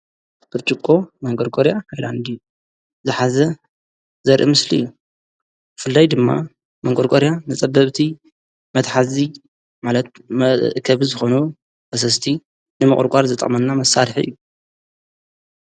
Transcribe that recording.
ብርጭቆ መንቆርቆርያ ሃይላንዲ ዝኃዘ ዘርኢ ምስሊ እዩ ብፍላይ ድማ መንቆርቆርያ ነጸበብቲ መታሕዚ ማለት መእከቢ ዝኾኑ ፈሰስቲ ንመቁርቃር ዝጠቅመና መሳርሒ እዩ።